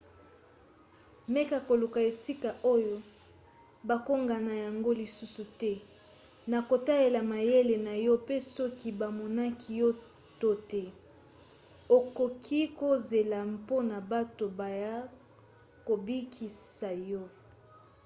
meka koluka esika oyo bakokanga yango lisusu te na kotalela mayele na yo pe soki bamonaki yo to te okoki kozela mpona bato baya kobikisa yo